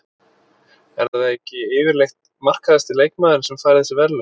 Er það ekki yfirleitt markahæsti leikmaðurinn sem fær þessi verðlaun?